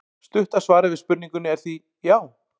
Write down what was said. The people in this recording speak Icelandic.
Stutta svarið við spurningunni er því já!